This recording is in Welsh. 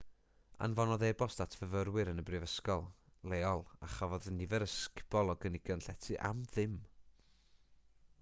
anfonodd e-bost at fyfyrwyr yn y brifysgol leol a chafodd nifer ysgubol o gynigion llety am ddim